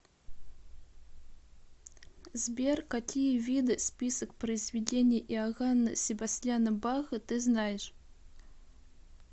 сбер какие виды список произведений иоганна себастьяна баха ты знаешь